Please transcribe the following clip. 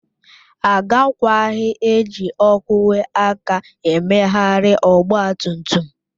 Agakwaghị eji ogwe aka emegharị ọgba tum tum